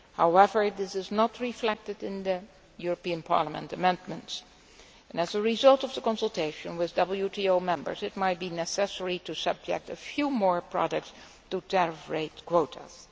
However, this is not reflected in the European Parliament amendments, and as a result of the consultation with WTO members, it might be necessary to subject a few more products to tariff rate quotas.